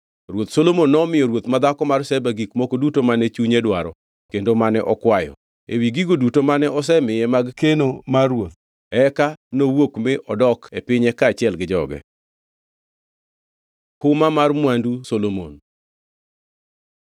Ruoth Solomon nomiyo ruoth madhako mar Sheba gik moko duto mane chunye dwaro kendo mane okwayo, ewi gigo duto mane osemiye mag keno mar ruoth. Eka nowuok mi odok e pinye kaachiel gi jotije. Huma mar mwandu Solomon